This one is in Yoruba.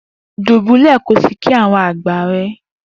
Dubulẹ ki o si kí àwọn àgbà rẹ!